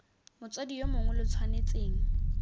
motsadi yo mongwe lo tshwanetseng